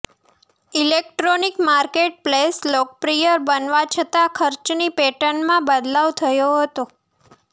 electronic marketplace લોકપ્રિય બનવા છતાં ખર્ચની પેટર્નમાં બદલાવ થયો હતો